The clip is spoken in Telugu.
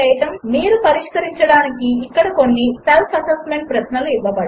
మీరు పరిష్కరించడానికి ఇక్కడ కొన్ని సెల్ఫ్ అసెస్మెంట్ ప్రశ్నలు ఇవ్వబడినవి 1